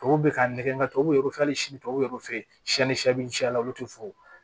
Tubabu bɛ ka nɛgɛ tɔw bɛ hali sini tubabuw fe yen sɛn ni shɛ bɛ cɛ a la olu tɛ foyi